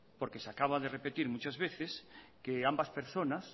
porque se acaba de repetir muchas veces que ambas personas